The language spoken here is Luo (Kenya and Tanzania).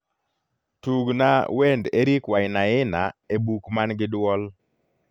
tugna wend eric wainana e buk man gi duol